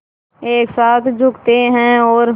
एक साथ झुकते हैं और